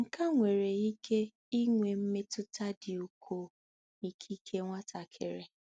Nke a nwere ike inwe mmetụta dị ukwuu nikike nwatakịrị.